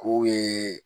K'u ye